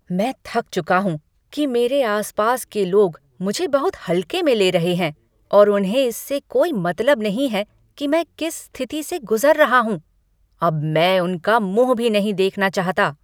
मैं थक चुका हूँ कि मेरे आस पास के लोग मुझे बहुत हल्के में ले रहे हैं और उन्हें इससे कोई मतलब नहीं है कि मैं किस स्थिति से गुजर रहा हूँ। अब मैं उनका मुँह भी नहीं देखना चाहता।